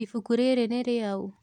Ibuku rĩrĩ nĩrĩaũ.